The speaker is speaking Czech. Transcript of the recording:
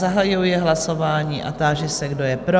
Zahajuji hlasování a táži se, kdo je pro?